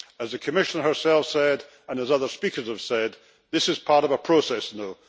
As the Commissioner herself said, and as other speakers have said, this part of a process now.